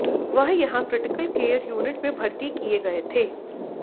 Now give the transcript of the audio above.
वह यहां critical care unit में भर्ती किए गए थे